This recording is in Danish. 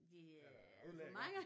De øh er det for mange?